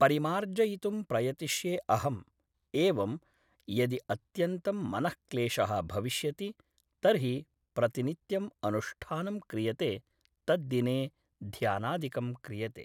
परिमार्जयितुं प्रयतिष्ये अहम् एवम् यदि अत्यन्तं मनःक्लेशः भविष्यति तर्हि प्रतिनित्यम् अनुष्ठानं क्रियते तद्दिने ध्यानादिकं क्रियते